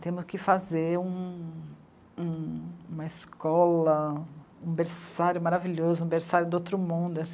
Temos que fazer um... uma escola, um berçário maravilhoso, um berçário do outro mundo.